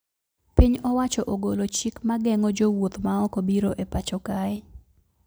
Piny owacho ogolo chik mageng`o jowuoth maoko biro e pacho kae